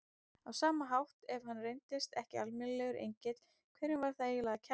Á sama hátt, ef hann reyndist ekki almennilegur engill, hverjum var það eiginlega að kenna?